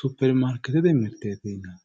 superimaarkeetete mirteeti yinanni.